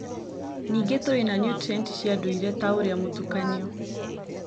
Ningĩ tũrĩ na niutrienti cia ndũire ta ũrĩa mũtukanio